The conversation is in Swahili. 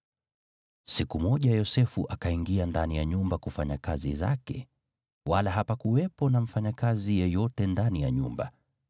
Siku moja Yosefu akaingia ndani ya nyumba kufanya kazi zake, wala hapakuwepo na mfanyakazi yeyote ndani ya nyumba.